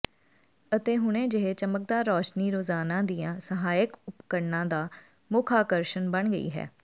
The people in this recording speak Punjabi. ਅਤੇ ਹੁਣੇ ਜਿਹੇ ਚਮਕਦਾਰ ਰੌਸ਼ਨੀ ਰੋਜ਼ਾਨਾ ਦੀਆਂ ਸਹਾਇਕ ਉਪਕਰਣਾਂ ਦਾ ਮੁੱਖ ਆਕਰਸ਼ਣ ਬਣ ਗਈ ਹੈ